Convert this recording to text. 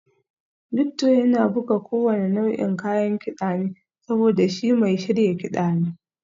Victor yana buga kowane nau'in kayan kida ne saboda shi mai shirya kiɗa ne